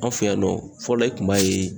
An fɛ yan nɔ fɔlɔ i kun b'a ye